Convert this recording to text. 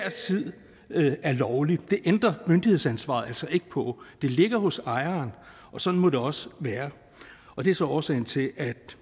tid er lovlig det ændrer myndighedsansvaret altså ikke på det ligger hos ejeren og sådan må det også være og det er så årsagen til at